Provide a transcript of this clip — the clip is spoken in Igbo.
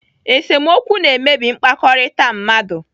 Esemokwu na-emebi mkpakọrịta mmadụ.